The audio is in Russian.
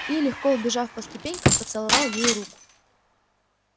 и легко взбежав по ступенькам поцеловал ей руку